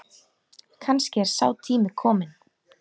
Kannski er sá tími kominn.